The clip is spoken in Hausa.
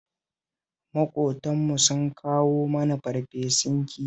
Maƙotanmu sun kawo mana farfesun kifi